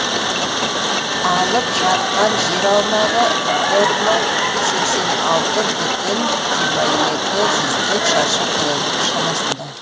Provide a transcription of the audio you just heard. алып жатқан жер аумағы бір мың сексен алты бүтін жиырма екі жүздік шаршы километр шамасында